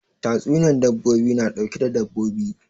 Tatsuniyan dabbobi na ɗauke da dabbobi